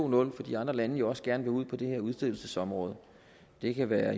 nul to fordi andre lande jo også gerne vil ud på det her udstedelsesområde det kan være